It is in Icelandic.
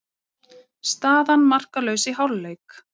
Staðan markalaus í hálfleik.